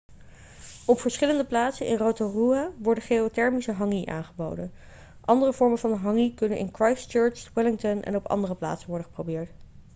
op verschillende plaatsen in rotorua wordt geothermische hangi aangeboden andere vormen van hangi kunnen in christchurch wellington en op andere plaatsen worden geprobeerd